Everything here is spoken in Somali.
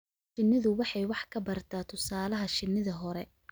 Shinnidu waxay wax ka barataa tusaalaha shinnida hore.